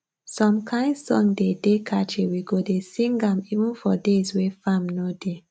some kain song dey dey catchy we go dey sing am even for days wey farm no dey